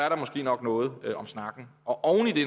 nok er noget om snakken og